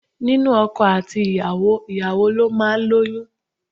Nínú ọkọ àti ìyàwó, ìyàwó ló máa ń lóyún.